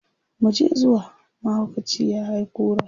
muje zuwa! mahaukaci ya hay kura